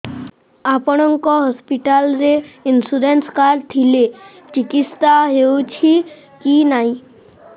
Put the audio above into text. ଆପଣଙ୍କ ହସ୍ପିଟାଲ ରେ insurance card ଥିଲେ ଚିକିତ୍ସା ହେଉଛି କି ନାଇଁ